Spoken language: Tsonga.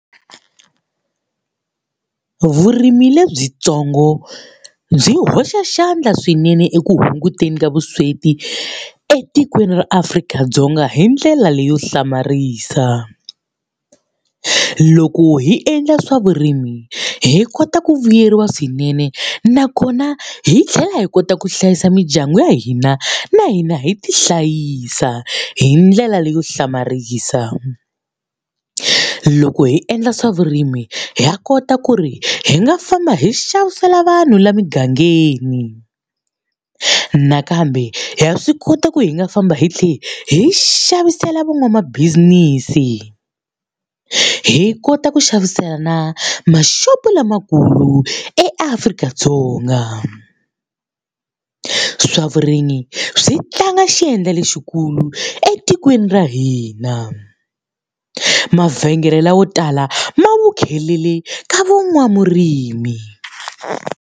Vurimi lebyintsongo byi hoxa xandla swinene eku hunguteni ka vusweti etikweni ra Afrika-Dzonga hi ndlela leyo hlamarisa. Loko hi endla swa vurimi hi kota ku vuyeriwa swinene nakona hi tlhela hi kota ku hlayisa mindyangu ya hina, na hina hi tihlayisa hi ndlela leyo hlamarisa. Loko hi endla swa vurimi ha kota ku ri hi nga famba hi xavisela vanhu la mugangeni. Nakambe ha swi koti ku hi nga famba hi tlhela hi xavisela van'wamabizinisi, hi kota ku xavisela na maxopo lamakulu eAfrika-Dzonga. Swa vurimi swi tlanga xandla lexikulu etikweni ra hina. Mavhengele lawo tala ma ka van'wamurimi.